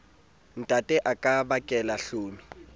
ntatae a ka bakela hlomi